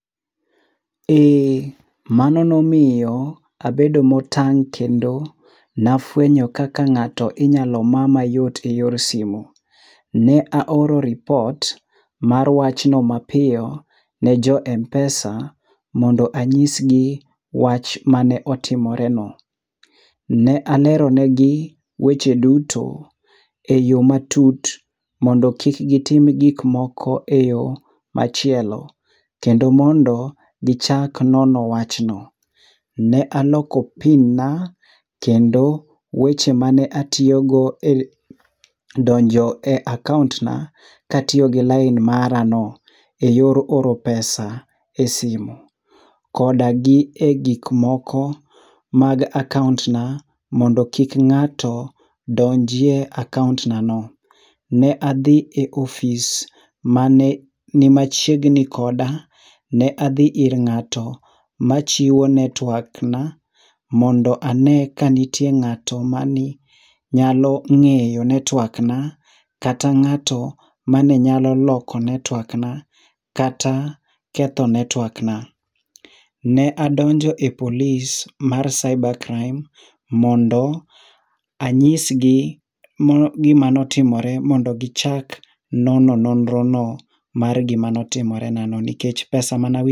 Eee, mano nomiyo abedo motang' kendo nafuenyo kaka ng'ato inyalo ma mayot eyor simu. Ne aoro ripot mar wachno mapiyo ne jo m-pesa mondo anyisgi wach mane otimoreno. Ne aleronegi weche duto eyo matut mondo kik gitim gik moko eyo machielo. Kendo mondo gichak nono wachno. Ne aloko pin na, kendo weche mane atiyogo e donjo e akaont na katiyo gi lain marano eyor oro pesa esimu. Koda gi egik moko mag akaont na mondo kik ng'ato donji e akaont na no. Ne adhi e ofis mane ni machiegni koda, ne adhi ir ng'ato machiwo network na, mondo ane kanitie ng'ato mani nyalo ng'eyo network na, kata ng'ato mane nyalo loko network na, kata ketho network na. Ne adonjo e police mar cybre crime mondo anyisgi gima notimore mondo gichak nono nonrono mar gima notimorena no nikech pesa manawi..